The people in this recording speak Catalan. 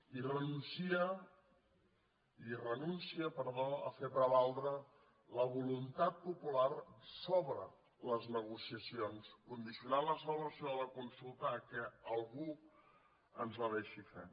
i renúncia a fer prevaldre la voluntat popular sobre les negociacions condicionant la celebració de la consulta al fet que algú ens la deixi fer